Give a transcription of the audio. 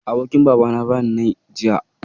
Abokin Babana ya bani nai, jiya